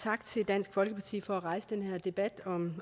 tak til dansk folkeparti for at rejse den her debat